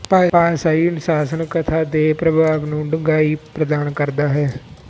ਭਾਸ਼ਾਈ ਅਨੁਸ਼ਾਸਨ ਕਥਾ ਦੇ ਪ੍ਰਭਾਵ ਨੂੰ ਡੂੰਘਾਈ ਪ੍ਰਦਾਨ ਕਰਦਾ ਹੈ